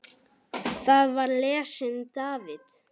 Þar var lesinn David